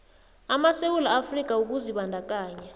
amasewula afrika ukuzibandakanya